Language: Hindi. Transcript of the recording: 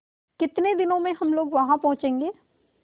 कितने दिनों में हम लोग वहाँ पहुँचेंगे